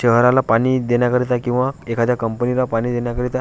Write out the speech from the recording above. शहराला पाणी देण्याकरिता किंवा एखाद्या कंपनी ला पाणी देण्याकरिता --